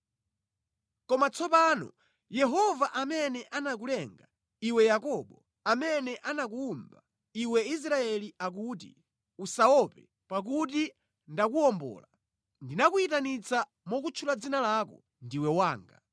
Koma tsopano, Yehova amene anakulenga, iwe Yakobo, amene anakuwumba, iwe Israeli akuti, “Usaope, pakuti ndakuwombola; Ndinakuyitanitsa mokutchula dzina lako, ndiwe wanga.